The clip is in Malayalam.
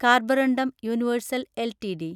കാർബറുണ്ടും യൂണിവേഴ്സൽ എൽടിഡി